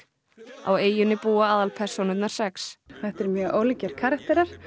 á eyjunni búa aðalpersónurnar sex þetta eru mjög ólíkir karakterar